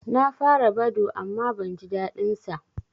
Na fara Badoo amma ban jin daɗin sa